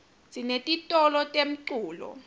sinetitolo temculo